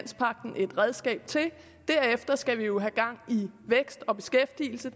et redskab til derefter skal vi jo have gang i vækst og beskæftigelse